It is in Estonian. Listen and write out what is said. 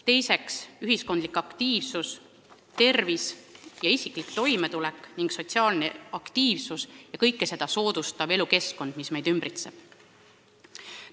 Teiseks on ühiskondlik aktiivsus, tervis ja isiklik toimetulek ning sotsiaalne aktiivsus ja kõike seda soodustav elukeskkond, mis meid ümbritseb.